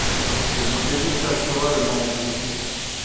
здравствуйте магазин канцтовары на девяти д